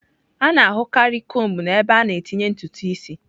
A na-ahụkarị kombu n'ebe a na-etinye ntutu isi.